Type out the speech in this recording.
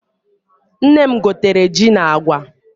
Nne m gotere ji na agwa.